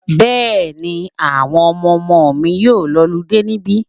Bẹ́ẹ̀ni, àwọn ọmọmọ mi yóò lọludé níbí.